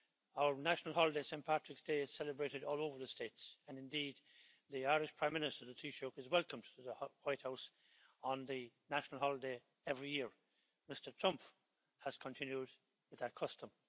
Our national holiday, Saint Patrick's day, is celebrated all over the States and indeed the Irish Prime Minister, the Taoiseach, is welcomed to the White House on the national holiday every year. Mr Trump has continued with that custom.